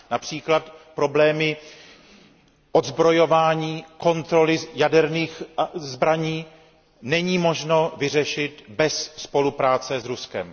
Například problémy odzbrojování, kontroly jaderných zbraní není možno vyřešit bez spolupráce s Ruskem.